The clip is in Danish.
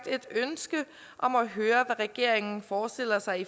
et ønske om at høre hvad regeringen forestiller sig